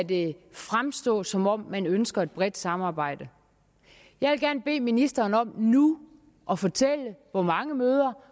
det fremstå som om man ønsker et bredt samarbejde jeg vil gerne bede ministeren om nu at fortælle hvor mange møder